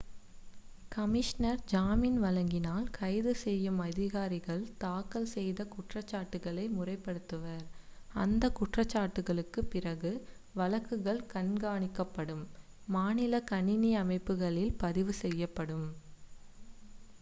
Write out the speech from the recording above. commissioner ஜாமின் வழங்கினால் கைது செய்யும் அதிகாரிகள் தாக்கல் செய்த குற்றச்சாட்டுகளை முறைப்படுத்துவர் அந்த குற்றச்சாட்டுகளுக்கு பிறகு வழக்குகள் கண்காணிக்கப்படும் மாநில கணினி அமைப்புகளில் பதிவு செய்யப்படும்